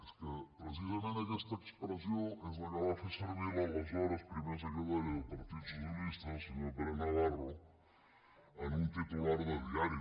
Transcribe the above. és que precisament aquesta expressió és la que va fer servir l’aleshores primer secretari del partit socialista el senyor pere navarro en un titular de diari